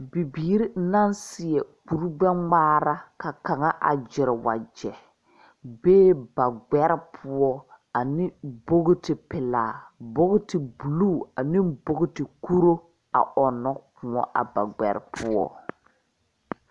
Bibiire na seɛ kuri gbɛngmaara ka kaŋa a gyire wagyɛ bee bagbɛre poɔ ane bugi tipilaa bogite blue aneŋ bogite kuro a ɔŋnɔ kõɔ a ba gbɛre poɔ.